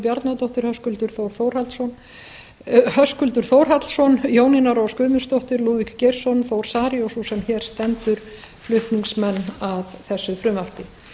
bjarnadóttir höskuldur þórhallsson jónína rós guðmundsdóttir lúðvík geirsson þór saari og sú sem hér stendur flutningsmenn að þessu frumvarpi